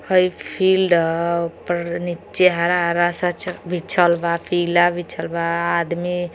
हाई field ह ओह पर नीचे हरा हरा सा बिछल बा पीला बिछल बा आदमी |